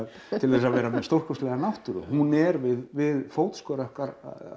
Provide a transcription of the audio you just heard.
til að vera með stórkostlega náttúru hún er við við fótskör okkar